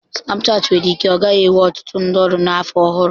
Snapchat nwere ike ọ gaghị enwe ọtụtụ ndị ọrụ na afọ ọhụrụ.